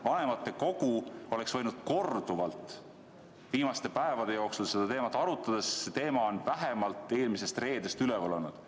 Vanematekogu oleks võinud viimaste päevade jooksul korduvalt seda teemat arutada, see teema on vähemalt eelmisest reedest üleval olnud.